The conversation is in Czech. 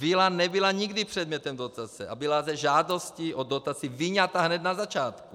Vila nebyla nikdy předmětem dotace a byla ze žádostí o dotaci vyňata hned na začátku.